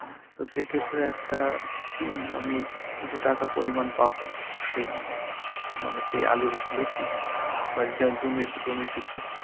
তো সেই ক্ষেত্রে একটা আমি কিছু টাকার পরিমান পাব, সেই~ মানে আলুর ভিত্তিতে বা জ~ জমির~ চোমের ভিত্তিতে